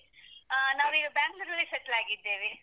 ಅಹ್ ನಾವೀಗ Bangalore ಅಲ್ಲಿ settle ಆಗಿದ್ದೇವೆ.